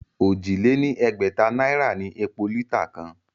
Òjì lé ní ẹgbẹ̀ta náírà ni epo lítà kan